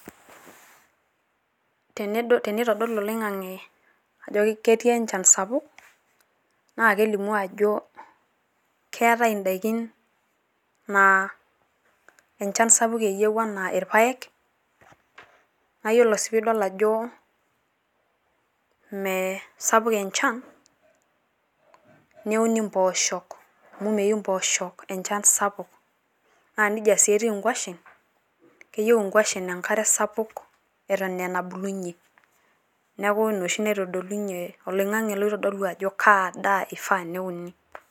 tenitodolu oling'ang'e ajo ketii enchan sapuk, naa kelimu ajo keetae idaikin naa enchan sauk anaa ilpaek, naa ore pee idol ajo, mme sapuk enchan niun immpooshok, amu meyieu impoosho enchan sapuk, naa nejia sii etiu inkwashen, keyieu inkwashen enkare sapuk eton aa enabulunye, neeku ina oshi naitodolunye, oling'ang'e loitodolu ajo kaa daa eyieu neuni.